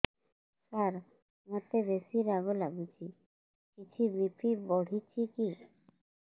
ସାର ମୋତେ ବେସି ରାଗ ଲାଗୁଚି କିଛି ବି.ପି ବଢ଼ିଚି କି